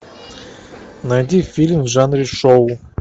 найди фильм в жанре шоу